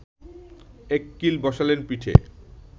এক কিল বসালেন পিঠে